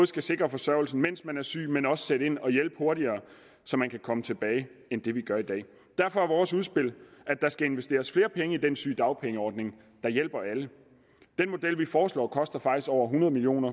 skal sikre forsørgelsen mens man er syg men også sætte ind og hjælpe hurtigere så man kan komme tilbage end det vi gør i dag derfor er vores udspil at der skal investeres flere penge i den sygedagpengeordning der hjælper alle den model vi foreslår koster faktisk over hundrede million